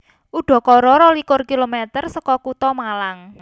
Udakara rolikur kilometer seka kutha Malang